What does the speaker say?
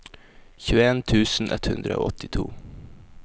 tjueen tusen ett hundre og åttito